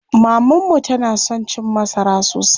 Maman mu tana son cin masara sosai.